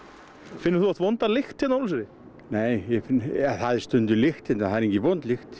finnur þú oft vonda lykt hérna á Ólafsfirði já það er stundum lykt hérna en það er ekki vond lykt